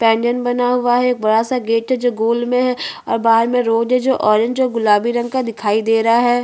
इस इमेज में मुझे बिल्डिंग दिखाई दे रहा है जो वाइट कलर का है बहोत सारी गोल गोल खिड़किया है जो बनी हुई है।